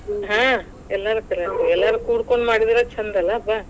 ಹಾ, ಎಲ್ರ ಕರ್ಯಾ , ಎಲ್ಲಾರು ಕೂಡಕೊಂಡ ಮಾಡಿದ್ರನ್ ಛಂದಲಾ ಬಾ.